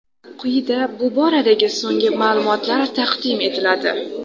Quyida bu boradagi so‘nggi ma’lumotlar taqdim etiladi.